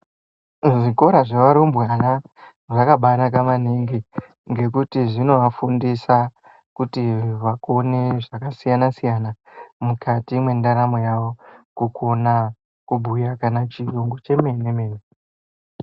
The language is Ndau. Zvikora zvevarumbwana zvakabanaka maningi ngekuti zvinovafundisa kuti vakone zvakasiyana siyana mukati mwendaramo yavo. Kukona kubhuya chiyungu chemene mene.